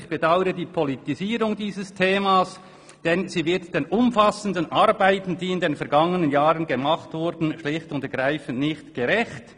«Ich bedaure die Politisierung dieses Themas, denn sie wird den umfassenden Arbeiten, die in den vergangenen Jahren gemacht wurden, schlicht und ergreifend nicht gerecht.